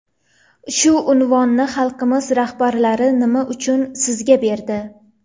Shu unvonni xalqimiz rahbarlari nima uchun sizga berdi?